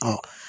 Ɔ